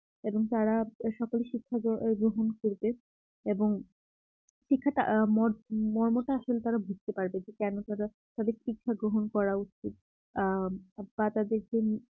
এবং তারা সকল শিক্ষা গ্রহণ করবে এবং শিক্ষাটার ম মর্মটা আসলে তারা বুঝতে পারবে যে কেন তারা তাদের শিক্ষা গ্রহণ করা উচিত আ বা তাদেরকে